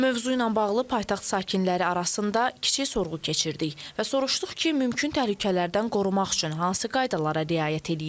Mövzu ilə bağlı paytaxt sakinləri arasında kiçik sorğu keçirdik və soruşduq ki, mümkün təhlükələrdən qorumaq üçün hansı qaydalara riayət eləyirlər?